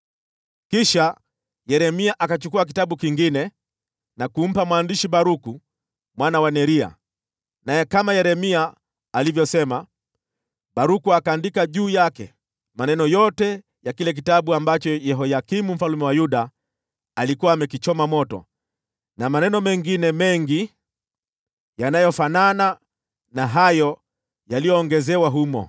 Kisha Yeremia akachukua kitabu kingine na kumpa mwandishi Baruku mwana wa Neria, naye kama Yeremia alivyosema, Baruku akaandika juu yake maneno yote ya kile kitabu ambacho Yehoyakimu mfalme wa Yuda alikuwa amekichoma moto, na maneno mengine mengi yaliyofanana na hayo yaliyoongezewa humo.